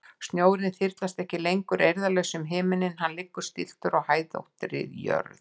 Snjórinn þyrlast ekki lengur eirðarlaus um himininn, hann liggur stilltur á hæðóttri jörð.